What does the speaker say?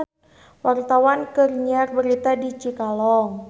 Wartawan keur nyiar berita di Cikalong